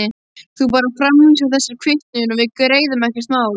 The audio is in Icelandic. Þú bara framvísar þessari kvittun og við greiðum, ekkert mál.